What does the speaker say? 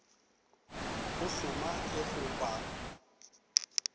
go hloma le go ba